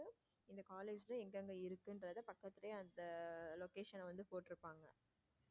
இந்த college ல எங்க எங்க இருக்குங்கறத பக்கத்திலேயே அந்த location வந்து போட்டு இருப்பாங்க.